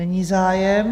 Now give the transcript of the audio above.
Není zájem.